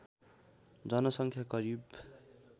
जनसङ्ख्या करिब